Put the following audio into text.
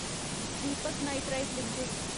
Deepak nitrite limited